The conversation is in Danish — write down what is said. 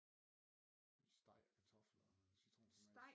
Steg og kartofler og noget citronfromage